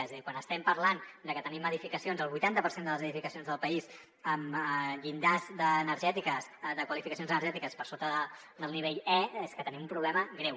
és a dir quan estem parlant de que tenim edificacions el vuitanta per cent de les edificacions del país amb llindars de qualificacions energètiques per sota del nivell e és que tenim un problema greu